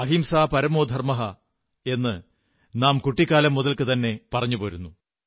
അഹിംസാ പരമോധർമ്മഃ എന്ന് നാം കുട്ടിക്കാലം മുതൽക്കുതന്നെ പറഞ്ഞുപോരുന്നു